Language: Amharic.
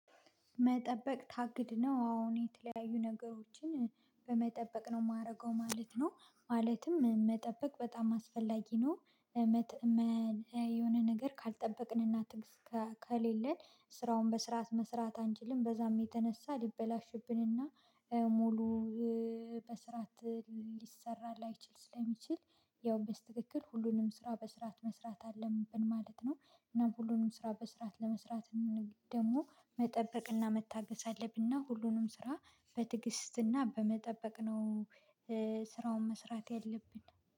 መጠበቅ ታግድ ነው አዎ እኔ የተለያዩ ነገሮችን በመጠበቅ ነው የማደርገው ማለት ነው። ማለትም መጠበቅ በጣም አስፈላጊ ነው። የሆነ ነገር ካልጠበቅን እና ትግስት ከ ከሌለን ስራውን በስርዓት መስራት አንችልም በዛም የተነሳ ሊበላሽብንና ሙሉ በስርዓት ሊሰራ ላይችል ስለሚችል ያው በትክክል ሁሉንም ስራ በስርዓት መስራት አለብን ማለት ነው። እና ሁሉንም ስራ በስርዓት ለመስራት ደግሞ መጠበቅ እና መታገስ አለብን እና ሁሉንም ስራ በትግስት እና በመጠበቅ ነው። ስራውን መስራት ያለብን